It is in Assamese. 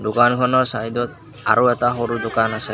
দোকানখনৰ চাইডত আৰু এটা সৰু দোকান আছে।